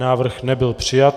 Návrh nebyl přijat.